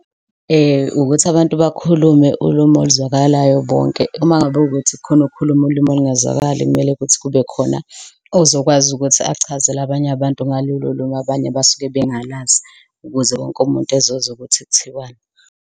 Ukuthi abantu bakhulume ulume oluzwakalayo bonke. Uma ngabe kukuthi kukhona okukhuluma ulimi olungazwakali, kumele kuthi kube khona ozokwazi ukuthi achazele abanye abantu ngalolo limi, abanye abasuke bengalazi ukuze wonke umuntu ezozwa ukuthi kuthiwani.